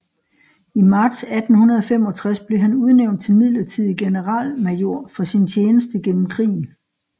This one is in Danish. I marts 1865 blev han udnævnt til midlertidig generalmajor for sin tjeneste gennem krigen